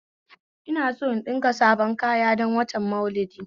Ina son in ɗinka sabon kaya don watan Maulidi